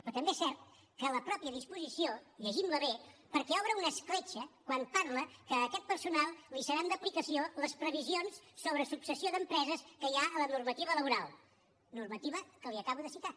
però també és cert que la mateixa disposició llegim la bé perquè obre una escletxa quan parla que a aquest personal li seran d’aplicació les previsions sobre successió d’empreses que hi ha a la normativa laboral normativa que li acabo de citar